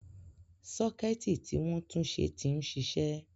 Sọ́kẹ́ẹ̀tì tí wọ́n túnṣe ti ń ṣiṣẹ́.